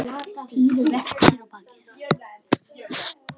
Týri velti sér á bakið.